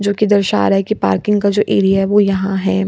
जो की दर्शा रहा है की पार्किंग का जो एरिया है वो यहाँ है।